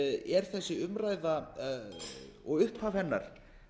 er þessi umræða og upphaf hennar